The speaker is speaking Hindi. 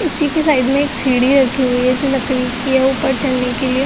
इसी की साइड में एक सीढ़ी रखी हुई है जो लकड़ी की है ऊपर चढ़ने के लिए।